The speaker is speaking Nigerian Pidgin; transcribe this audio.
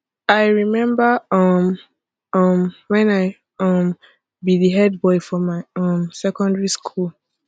i rememba um um wen i um be di head boy for my um secondary school